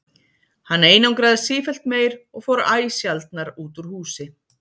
Hann einangraðist sífellt meir og fór æ sjaldnar út úr húsi.